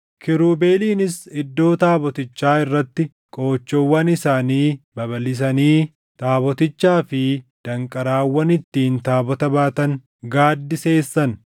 Kiirubeeliinis iddoo taabotichaa irratti qoochoowwan isaanii babalʼisanii taabotichaa fi danqaraawwan ittiin taabota baatan gaaddiseessan.